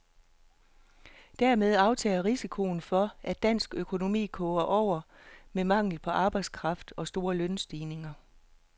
Dermed aftager risikoen for, at dansk økonomi koger over med mangel på arbejdskraft og store lønstigninger.